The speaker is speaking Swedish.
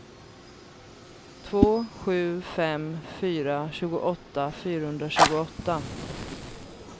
två sju fem fyra tjugoåtta fyrahundratjugoåtta